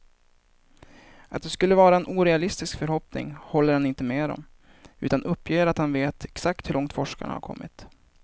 Att det skulle vara en orealistisk förhoppning håller han inte med om, utan uppger att han vet exakt hur långt forskarna har kommit.